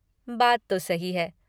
बात तो सही है।